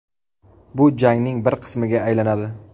Bu jangning bir qismiga aylanadi.